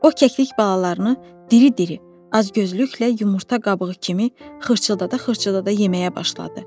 O kəklik balalarını diri-diri, acgözlüklə yumurta qabığı kimi xırçıldada-xırçıldada yeməyə başladı.